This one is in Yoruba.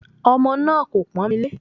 Ọmọ náà kò pọ́n mi lé